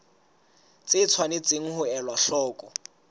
tse tshwanetseng ho elwa hloko